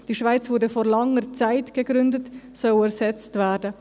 ‹Die Schweiz wurde vor langer Zeit gegründet› ersetzt werden.